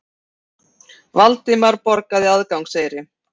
Valdimar borgaði aðgangseyri.